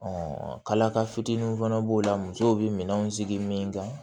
kalakalaw fana b'o la musow bɛ minɛnw sigi min kan